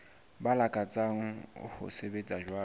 ba lakatsang ho sebetsa jwalo